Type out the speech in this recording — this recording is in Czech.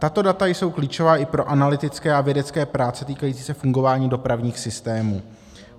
Tato data jsou klíčová i pro analytické a vědecké práce týkající se fungování dopravních systémů.